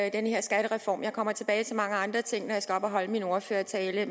i den her skattereform jeg kommer tilbage til mange andre ting når jeg skal op og holde min ordførertale